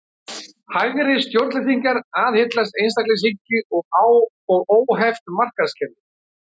Hægri stjórnleysingjar aðhyllast einstaklingshyggju og óheft markaðskerfi.